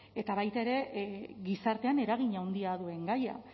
eta baita ere gizartean eragin handia duen gaia